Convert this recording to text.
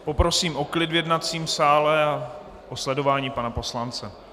Poprosím o klid v jednacím sále a o sledování pana poslance.